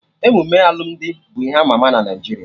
Emume alụmdi bụ ihe ama ama na Naijiria